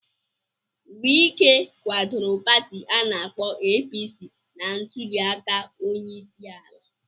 Wike kwadoro Pati ana-akpo APC na ntuli aka onyeisiala.